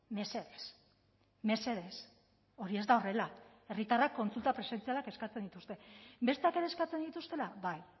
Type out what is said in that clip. mesedez mesedez hori ez da horrela herritarrak kontsulta presentzialak eskatzen dituzte besteak ere eskatzen dituztela bai